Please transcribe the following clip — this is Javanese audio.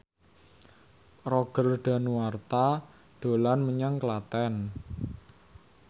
Roger Danuarta dolan menyang Klaten